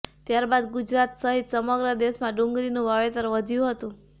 ત્યાર બાદ ગુજરાત સહિત સમગ્ર દેશમાં ડુંગળીનું વાવેતર વધ્યું હતું